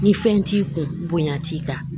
Ni fɛn t'i kun bonya t'i kan